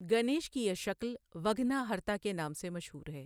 گنیش کی یہ شکل وگھناہرتا کے نام سے مشہور ہے۔